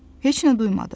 Heç nə duymadı.